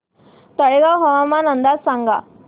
तळेगाव हवामान अंदाज सांगा